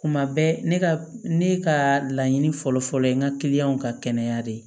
Kuma bɛɛ ne ka ne ka laɲini fɔlɔ fɔlɔ fɔlɔ ye n ka ka kɛnɛya de ye